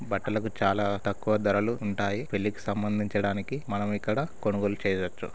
బట్టలకు చాలా తక్కువ ధరలు ఉంటాయి. పెళ్ళికి సంబండించడానికి మనం ఇక్కడ కొనుగోలు చేయవచ్చు.